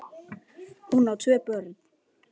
Hún á tvö börn.